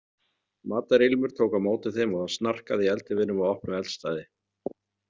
Matarilmur tók á móti þeim og það snarkaði í eldiviðnum á opnu eldstæði.